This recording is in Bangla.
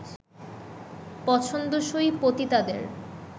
পছন্দসই পতিতাদের